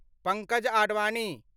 Pankaj Advani